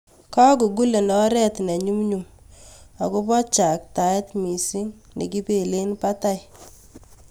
Googulen oret ne nyumnyum ago bo chataet miising' nekipeelen batai